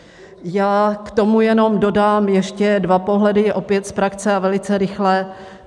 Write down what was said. Já k tomu jenom dodám ještě dva pohledy opět z praxe a velice rychle.